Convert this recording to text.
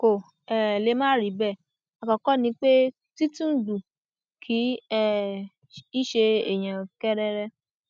kò um lè má rí bẹẹ àkọkọ ni pé tìtúngbù kì um í ṣe èèyàn kẹrẹrẹ